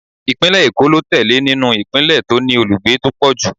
Ìpínlẹ̀ Èkó ló tẹ̀lé nínú ìpínlẹ̀ tó ní olùgbé tó pọ̀ jù.